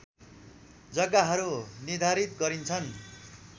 जग्गाहरू निर्धारित गरिन्छन्